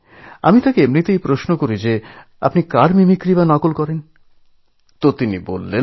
তখন আমি জানতে চাইলাম কাদের মিমিক্রি করেন আপনি